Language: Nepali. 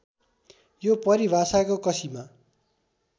यो परिभाषाको कसीमा